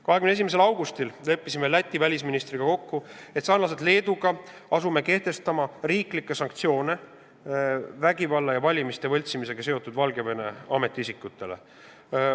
21. augustil leppisime Läti välisministriga kokku, et asume sarnaselt Leeduga kehtestama riiklikke sanktsioone nendele Valgevene ametiisikutele, kes on seotud vägivallaga ja valimiste võltsimisega.